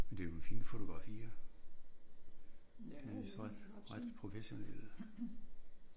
Men det er jo nogle fine fotografier. De er vist ret ret professionelle